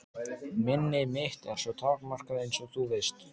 Minni mitt er svo takmarkað einsog þú veist.